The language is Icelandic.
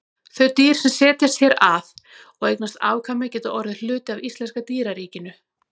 Þau dýr sem setjast hér að og eignast afkvæmi geta orðið hluti af íslenska dýraríkinu.